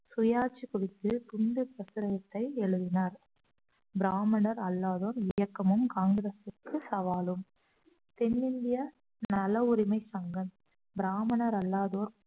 சுயாட்சி குறித்து எழுதினார் பிராமணர் அல்லாதோர் இயக்கமும் காங்கிரசுக்கு சவாலும் தென்னிந்திய நல உரிமை சங்கம் பிராமணர் அல்லாதோர்